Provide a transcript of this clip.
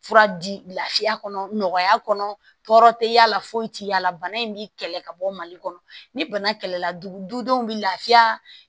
Fura di lafiya kɔnɔ nɔgɔya kɔnɔ tɛ y'a la foyi tɛ y'a la bana in bɛ kɛlɛ ka bɔ mali kɔnɔ ni bana kɛlɛla dugudenw bɛ lafiya